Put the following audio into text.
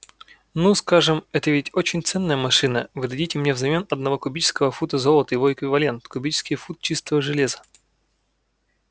ну скажем это ведь очень ценная машина вы дадите мне взамен одного кубического фута золота его эквивалент кубический фут чистого железа